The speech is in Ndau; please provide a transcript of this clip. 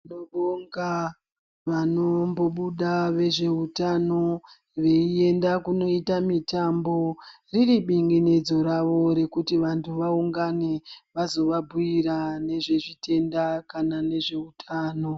Tinobonga vanombobuda vezveutano, veienda kunoita mitambo, riri binginidzo ravo rekuti vantu vaungane, vazovabhuira nezvezvitanda kana nezveutano.